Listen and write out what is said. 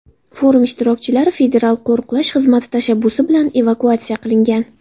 Forum ishtirokchilari Federal qo‘riqlash xizmati tashabbusi bilan evakuatsiya qilingan.